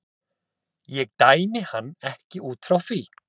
Ég dæmi hann ekki út frá því.